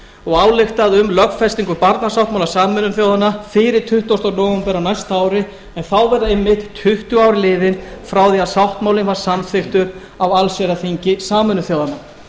og ályktað um lögfestingu barnasáttmála sameinuðu þjóðanna fyrir tuttugasta nóvember á næsta ári en þá verða einmitt tuttugu ár liðin frá því að sáttmálinn var samþykktur á allsherjarþingi sameinuðu þjóðanna